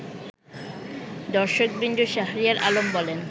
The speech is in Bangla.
দর্শকবৃন্দ শাহরিয়ার আলম বলেন